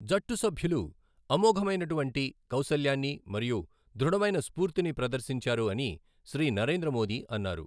జట్టు సభ్యులు అమోఘమైనటువంటి కౌశల్యాన్ని మరియు దృఢమైన స్ఫూర్తి ని ప్రదర్శించారు అని శ్రీ నరేంద్ర మోదీ అన్నారు.